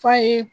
F'a ye